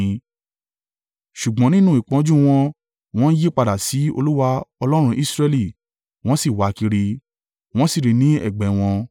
Ṣùgbọ́n nínú ìpọ́njú wọn, wọ́n yí padà si Olúwa Ọlọ́run Israẹli, wọ́n sì wa kiri. Wọ́n sì ri i ní ẹ̀gbẹ́ wọn.